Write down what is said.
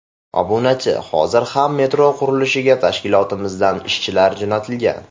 Obunachi: Hozir ham metro qurilishiga tashkilotimizdan ishchilar jo‘natilgan.